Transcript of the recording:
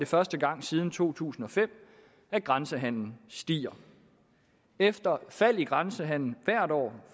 første gang siden to tusind og fem at grænsehandelen stiger efter et fald i grænsehandelen hvert år